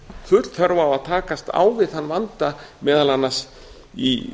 full þörf á að takast á við þann vanda meðal annars í